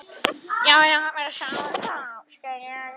Jæja, við sjáumst þá.